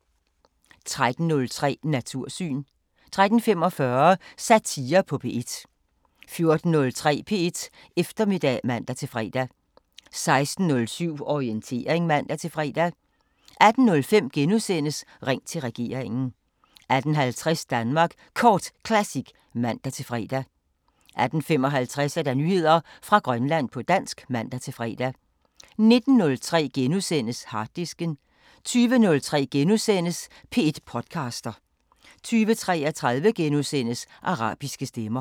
13:03: Natursyn 13:45: Satire på P1 14:03: P1 Eftermiddag (man-fre) 16:07: Orientering (man-fre) 18:05: Ring til regeringen * 18:50: Danmark Kort Classic (man-fre) 18:55: Nyheder fra Grønland på dansk (man-fre) 19:03: Harddisken * 20:03: P1 podcaster * 20:33: Arabiske Stemmer *